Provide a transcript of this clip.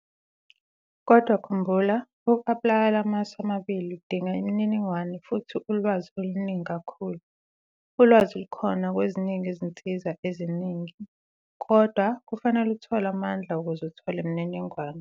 Kodwa khumbula, uku-aplaya lamasu amabili uzinga imininingwane futhi ulwazi oluningi kakhulu. Ulwazi lukhona kweziningi izinsizwa eziningi, kodwa kufanele uthole amandla ukuze uthole imininingwane.